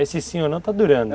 Esse sim ou não está durando.